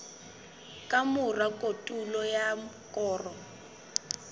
ka mora kotulo ya koro